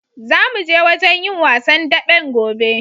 Zamu je wajen yin wasan daɓen gobe.